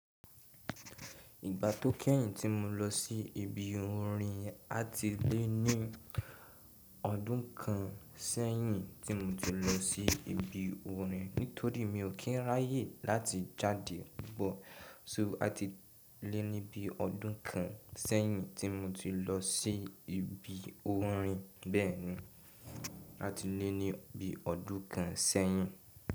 Ìgbà tó kẹ́yìn tí mo lọ sí ibi orin àti lé ní ọdún kan sẹ́yìn tí mo ti lọ sí ibi orin nítorí mi ò kí ń ráyè láti jáde pupo. So àti lé ní bí ọdún kan sẹ́yìn tí mo ti lọ sí ibi orin bẹ́ẹ̀ni, àti lé ní bí ọdún kan sẹ́yìn.